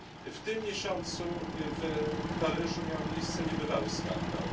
W tym miesiącu w Paryżu miał miejsce niebywały skandal.